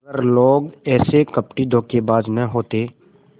अगर लोग ऐसे कपटीधोखेबाज न होते